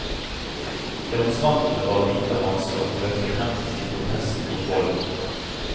Demonstrantene bar hvite hansker og løftet hendene i protest mot volden.